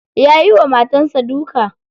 Ya yiwa matar sa duka.